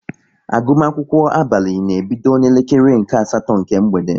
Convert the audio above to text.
Agụmakwụkwọ abalị na-ebido na-elekere nke asatọ nke mgbede